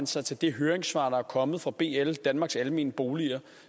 sig til det høringssvar der er kommet fra bl danmarks almene boliger